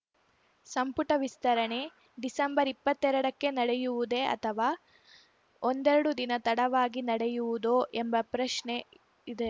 ಸಂಪುಟ ವಿಸ್ತರಣೆ ಡಿಸೆಂಬರ್ ಇಪ್ಪತ್ತೆರಡಕ್ಕೆ ನಡೆಯುವುದೇ ಅಥವಾ ಒಂದೆರಡು ದಿನ ತಡವಾಗಿ ನಡೆಯುವುದೋ ಎಂಬ ಪ್ರಶ್ನೆಯಿದೆ